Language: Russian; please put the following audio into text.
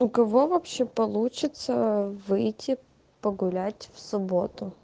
у кого вообще получится выйти погулять в субботу